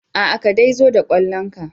Aa ka dai zo da kallon ka.